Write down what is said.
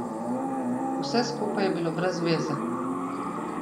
Vse skupaj je bilo brez veze.